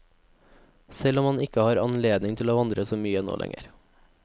Selv om han ikke har anledning til å vandre så mye nå lenger.